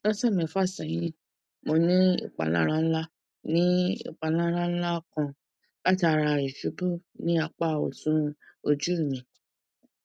lọsẹ mefa sẹhin mo ni ipalara nla ni ipalara nla kan latara isubu ni apa ọtun oju mi